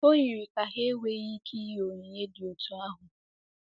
O yiri ka ha enweghị ike inye onyinye dị otú ahụ.